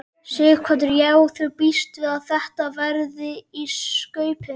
Sighvatur: Já þú bíst við að þetta verði í skaupinu?